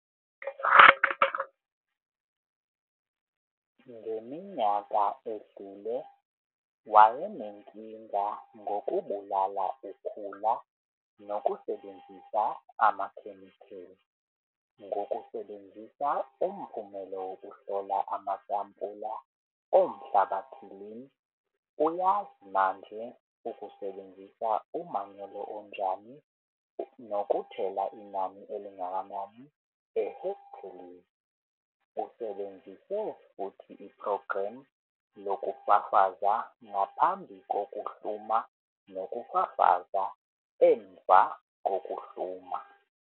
Ngeminyaka edlule wayenenkinga ngokubulala ukhula nokusebenzisa amakhemikeli. Ngokusebenzisa umphumelo wokuhlola amasampula omhlabathiIn uyazi manje ukusebenzisa umanyolo onjani nokuthela inani elingakanani ehekthelini. Usebenzise futhi iphrogramu lokufafaza ngaphambi kokuhluma nokufafaza emva kokuhluma.